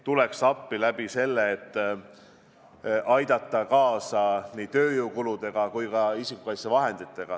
Tuleme appi sellega, et aitame kaasa nii tööjõukuludega kui ka isikukaitsevahenditega.